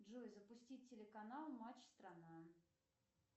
джой запустить телеканал матч страна